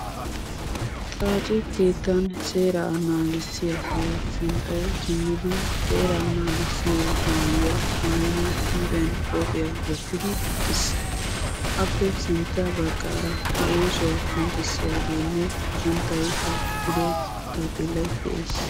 Xaacce keettan seeraa naagissiyage sinttawu xeellidi maayuwaa maayidi huuphphiyaanbqophphiyaa wottidi de'ees. Appe sintta baggaara a oosuwaa qonccisiyagene a suntta qonccisiyage xaafettido taappelay de'ees.